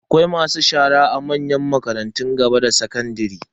Akwai masu shara a manyan makarantun gaba da sakandare.